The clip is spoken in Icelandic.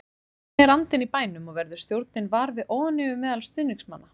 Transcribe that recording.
Hvernig er andinn í bænum og verður stjórnin var við óánægju meðal stuðningsmanna?